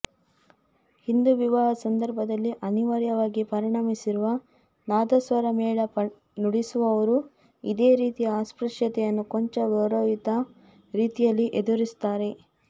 ಹಿಂದೂ ವಿವಾಹ ಸಂದರ್ಭಗಳಲ್ಲಿ ಅನಿವಾರ್ಯವಾಗಿ ಪರಿಣಮಿಸಿರುವ ನಾದಸ್ವರ ಮೇಳ ನುಡಿಸುವವರೂ ಇದೇ ರೀತಿಯ ಅಸ್ಪೃಶ್ಯತೆಯನ್ನು ಕೊಂಚ ಗೌರವಯುತ ರೀತಿಯಲ್ಲಿ ಎದುರಿಸುತ್ತಾರೆ